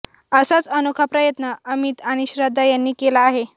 असाच अनोखा प्रयत्न अमित आणि श्रद्धा यांनी केला आहे